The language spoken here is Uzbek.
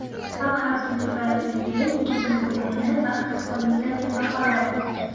Xalq xavfsizligi vazirligi yigitning o‘limini baxtsiz hodisa deb baholadi.